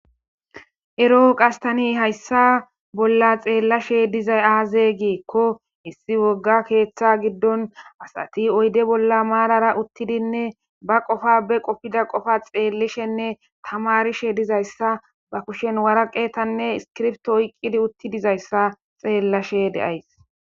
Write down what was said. ero7o qastani hayssa bolla xeellashe dizay aaze giekko issi wogga keeththa giddon asati oyde bolla maarara uttidinne ba qofa be qopfida qofa xeellishenne tamarishe dizayssa ba kushen waraqetanne iskirfto oyqqidi uttidizayssa xeellashe deays